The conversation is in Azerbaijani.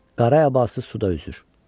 Qara əbası suda üzür.